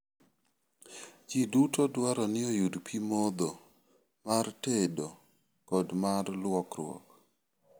Ji duto dwaro ni oyud pi modho, mar tedo, kod mar lwokruok.